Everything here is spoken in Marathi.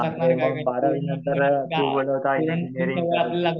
हा ते मग बारावी नंतर तू बोलत होता इंजिनीरिंग करायची.